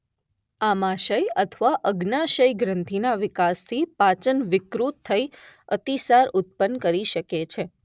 આમાશય અથવા અગ્ન્યાશય ગ્રંથિ ના વિકાસ થી પાચન વિકૃત થઈ અતિસાર ઉત્પન્ન કરી શકે છે.